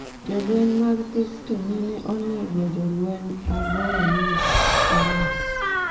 Jolweny mag piny Misri nene onego jolweny aboro mag IS